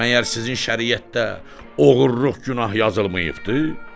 Məgər sizin şəriətdə oğurluq günah yazılmayıbdır?